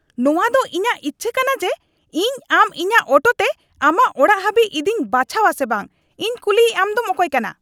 ᱱᱚᱶᱟᱫᱚ ᱤᱧᱟᱹᱜ ᱤᱪᱪᱷᱟᱹ ᱠᱟᱱᱟ ᱡᱮ ᱤᱧ ᱟᱢ ᱤᱧᱟᱹᱜ ᱚᱴᱳ ᱛᱮ ᱟᱢᱟᱜ ᱚᱲᱟᱜ ᱦᱟᱹᱵᱤᱡ ᱤᱫᱤᱧ ᱵᱟᱪᱷᱟᱣᱟ ᱥᱮ ᱵᱟᱝ ᱾ ᱤᱧ ᱠᱩᱞᱤᱭᱤᱡ ᱟᱢᱫᱚᱢ ᱚᱠᱚᱭ ᱠᱟᱱᱟ ? (Auto driver)